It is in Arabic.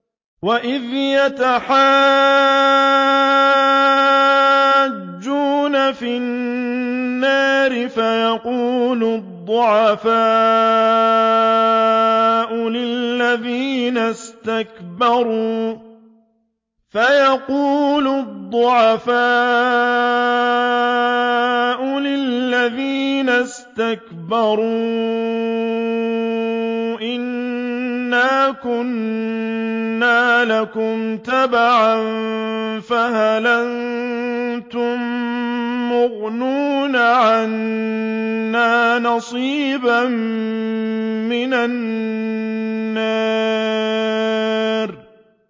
وَإِذْ يَتَحَاجُّونَ فِي النَّارِ فَيَقُولُ الضُّعَفَاءُ لِلَّذِينَ اسْتَكْبَرُوا إِنَّا كُنَّا لَكُمْ تَبَعًا فَهَلْ أَنتُم مُّغْنُونَ عَنَّا نَصِيبًا مِّنَ النَّارِ